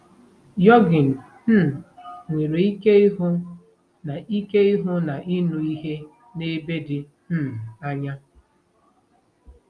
Yogin um nwere ike ịhụ na ike ịhụ na ịnụ ihe n'ebe dị um anya